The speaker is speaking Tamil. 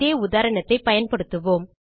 அதே உதாரணத்தைப் பயன்படுத்துவோம்